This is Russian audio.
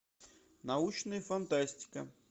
научная фантастика